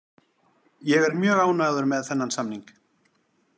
Ég er mjög ánægður með þennan samning.